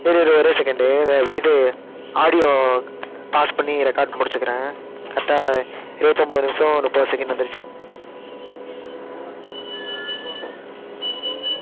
இரு இரு ஒரே second இது audio pause பண்ணி record முடிச்சுக்கிறேன் correct ஆ இருபத்து ஒன்பது நிமிஷம் முப்பது second வந்துருச்சு